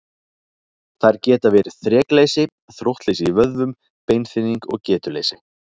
Þær geta verið þrekleysi, þróttleysi í vöðvum, beinþynning og getuleysi.